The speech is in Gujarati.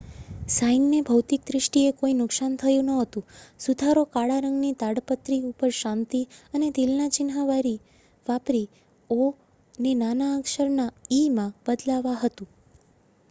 "સાઈનને ભૌતિક દ્રિષ્ટીએ કોઈ નુકસાન થયુ નહોતુ; સુધારો કાળા રંગની તાડપત્રી ઉપર શાંતિ અને દિલ ના ચિન્હ વાપરી "ઓ" ને નાના અક્ષર ના "ઈ""માં બદલાવા હતુ .